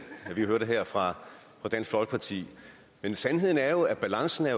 vi hørte her fra dansk folkeparti men sandheden er jo at balancen er